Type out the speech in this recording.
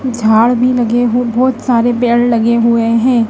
झाड़ भी लगे हों बहोत सारे पेड़ लगे हुए हैं।